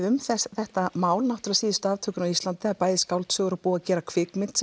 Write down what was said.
um þetta mál síðustu aftökuna á Íslandi bæði skáldsögur og búið að gera kvikmynd